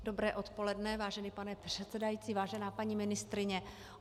Dobré odpoledne, vážený pane předsedající, vážená paní ministryně.